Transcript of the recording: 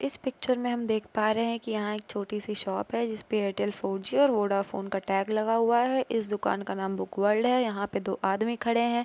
Picture में हम देख पा रहे है के यहाँ एक छोटी सी शॉप है जिस पे एयरटेल फोर जी वोडाफोन का टैग लगा हुआ है इस दुकान का नाम बुक वर्ल्ड है यहाँ पे दो आदमी खड़े हैं ।